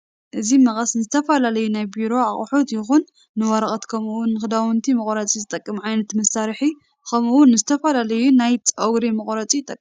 እዚ መቀስ ንዝተፈላለዩ ናይ ቤሮ ኣቁሑት ይኩን ንወረቀት ከምኡ እውን ክዳዊንት መቁረፂ ዝጠቅም ዓይነት መሳርሕ ከምኡ እውን ንዝተፈላለዩ ንናይ ፅገሪ መቁረፂ ይጠቅም።